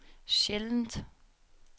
sjældent